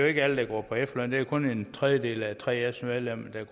ikke alle der går på efterløn det er kun en tredjedel af 3fs medlemmer